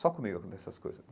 Só comigo, nessas coisas.